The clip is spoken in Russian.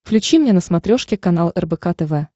включи мне на смотрешке канал рбк тв